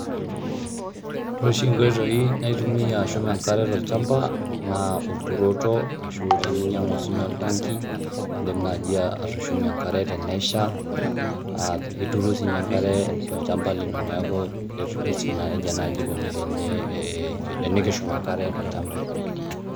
Ore oshi inkoitoi naitumia ashum enkare tolchamba naa olturoto ashu teninyangu sii ninye oltanki indim naji atushumie enkare tenesha aa ituru sininye enkare tolchamba lino neaku ketumi si nejia nai eikoni teni ee tenikishum enkare tolchamba.